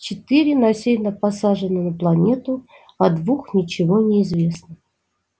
четыре насильно посажены на планету о двух ничего не известно